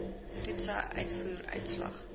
toetse uitvoer uitslag